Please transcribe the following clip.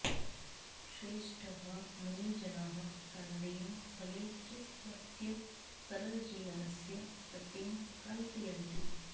श्रेष्ठः मुनिजनः कन्देन फलै च स्वस्य सरलजीवनस्य वृत्तिं कल्पयन्ति